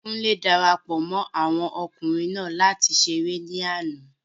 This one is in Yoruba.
Kúnlé darapọ̀ mọ́ àwọn okunrin naa láti ṣeré ní àná